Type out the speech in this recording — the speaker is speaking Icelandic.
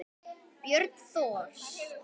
Björn Thors.